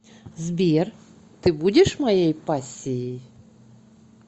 сбер ты будешь моей пассией